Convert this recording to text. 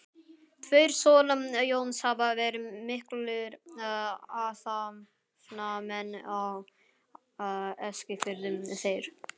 Tveir sona Jóns hafa verið miklir athafnamenn á Eskifirði, þeir